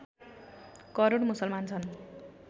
करोड मुसलमान छन्